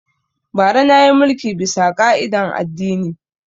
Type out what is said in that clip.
Bara na yi mulki bisa ƙa'idan addini